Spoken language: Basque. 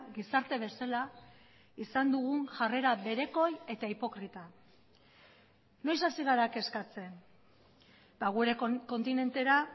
gizarte bezala izan dugun jarrera berekoi eta hipokrita noiz hasi gara kezkatzen gure kontinentera